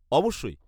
-অবশ্যই।